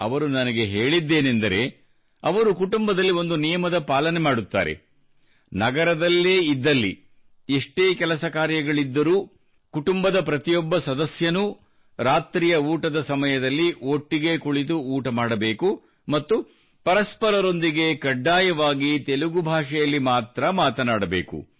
ಅವರು ನನಗೆ ಹೇಳಿದ್ದೇನೆಂದರೆ ಅವರು ಕುಟುಂಬದಲ್ಲಿ ಒಂದು ನಿಯಮದ ಪಾಲನೆ ಮಾಡುತ್ತಾರೆ ಅದೇನೆಂದರೆ ನಗರದಲ್ಲೇ ಇದ್ದಲ್ಲಿ ಎಷ್ಟೇ ಕೆಲಸ ಕಾರ್ಯಗಳಿದ್ದರೂ ಕುಟುಂಬದ ಪ್ರತಿಯೊಬ್ಬ ಸದಸ್ಯನೂ ರಾತ್ರಿಯ ಊಟದ ಸಮಯದಲ್ಲಿ ಒಟ್ಟಿಗೆ ಕುಳಿತು ಊಟ ಮಾಡಬೇಕು ಮತ್ತು ಪರಸ್ಪರರೊಂದಿಗೆ ಕಡ್ಡಾಯವಾಗಿ ತೆಲುಗು ಭಾಷೆಯಲ್ಲಿ ಮಾತ್ರಾ ಮಾತನಾಡಬೇಕು